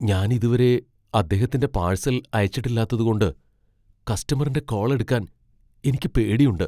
ഞാൻ ഇതുവരെ അദ്ദേഹത്തിന്റെ പാഴ്സൽ അയച്ചിട്ടില്ലാത്തതുകൊണ്ട് കസ്റ്റമറിന്റെ കോൾ എടുക്കാൻ എനിക്ക് പേടിയുണ്ട്.